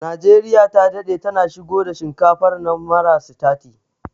Najeriya ta daɗe tana shigo da shinkafar nan mara sitati